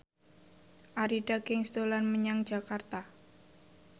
Arie Daginks dolan menyang Jakarta